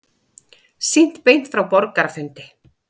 Sýnt beint frá borgarafundi